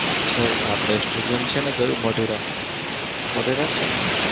sir આપડે છે ને કયું મોટેરા? મોટેરા જ છે ને?